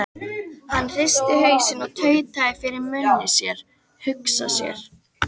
Hann hristi hausinn og tautaði fyrir munni sér: Hugsa sér.